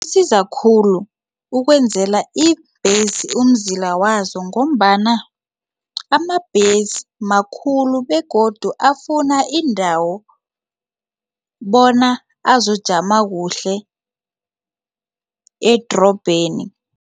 Kusiza khulu ukwenzela ibhesi umzila wazo ngombana amabhesi makhulu begodu afuna indawo bona azokujama kuhle edrobheni.